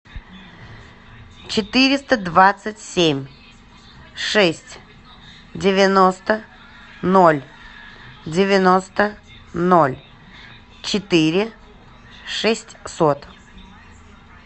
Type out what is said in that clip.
четыреста двадцать семь шесть девяносто ноль девяносто ноль четыре шестьсот